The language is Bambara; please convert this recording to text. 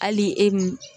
Hali e m